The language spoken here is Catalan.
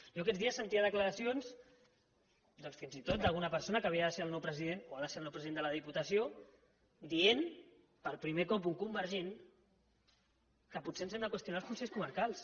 jo aquests dies sentia declaracions doncs fins i tot d’alguna persona que havia de ser el nou president o ha de ser el nou president de la diputació dient per primer cop un convergent que potser ens hem de qüestionar els consells comarcals